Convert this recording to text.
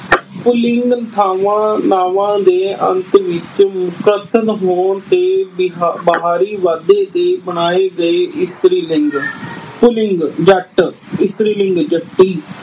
ਪੁਲਿੰਗ ਥਾਵਾਂ ਨਾਵਾਂ ਦੇ ਅੰਤ ਵਿੱਚ ਹੋਣ ਤੇ ਬਹ ਅਹ ਬਾਹਰੀ ਵਾਧੇ ਦੇ ਬਣਾਏ ਗਏ ਇਸਤਰੀ ਲਿੰਗ। ਪੁਲਿੰਗ-ਜੱਟ। ਇਸਤਰੀ ਲਿੰਗ-ਜੱਟੀ।